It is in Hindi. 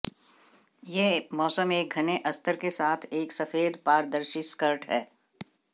यह मौसम एक घने अस्तर के साथ एक सफेद पारदर्शी स्कर्ट है